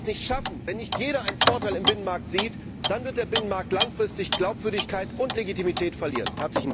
Wenn wir das nicht schaffen, wenn nicht jeder einen Vorteil im Binnenmarkt sieht, dann wird der Binnenmarkt langfristig an Glaubwürdigkeit und Legitimität verlieren.